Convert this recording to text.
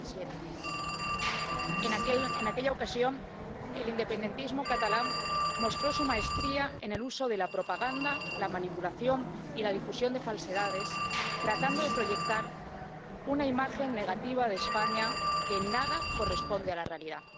2017. En aquella ocasión el independentismo catalán mostró su maestría en el uso de la propaganda, la manipulación y la difusión de falsedades, tratando de proyectar una imagen negativa de España que en nada corresponde a la realidad.